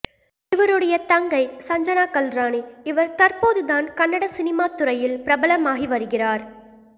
இவருடைய தங்கை சஞ்சனா கல்ராணி இவர் தற்போதுதான் கன்னட சினிமாத்துறையில் பிரபலமாகி வருகிறார்